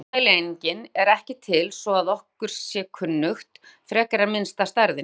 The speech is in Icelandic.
Minnsta mælieiningin er ekki til svo að okkur sé kunnugt, frekar en minnsta stærðin.